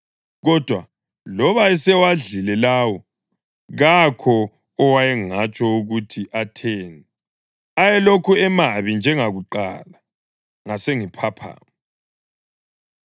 Kodwa loba esewadlile lawo kakho owayengatsho ukuthi atheni; ayelokhu emabi njengakuqala. Ngasengiphaphama.